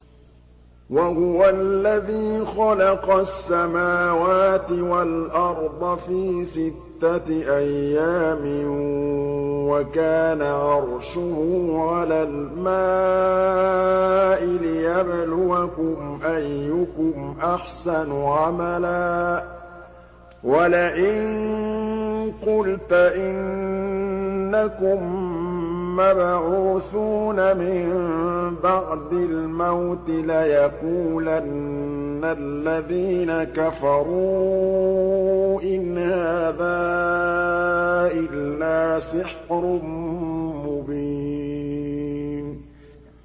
وَهُوَ الَّذِي خَلَقَ السَّمَاوَاتِ وَالْأَرْضَ فِي سِتَّةِ أَيَّامٍ وَكَانَ عَرْشُهُ عَلَى الْمَاءِ لِيَبْلُوَكُمْ أَيُّكُمْ أَحْسَنُ عَمَلًا ۗ وَلَئِن قُلْتَ إِنَّكُم مَّبْعُوثُونَ مِن بَعْدِ الْمَوْتِ لَيَقُولَنَّ الَّذِينَ كَفَرُوا إِنْ هَٰذَا إِلَّا سِحْرٌ مُّبِينٌ